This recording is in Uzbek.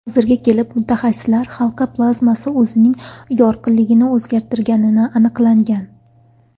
Hozirga kelib mutaxassislar halqa plazmasi o‘zining yorqinligini o‘zgartirganini aniqlangan.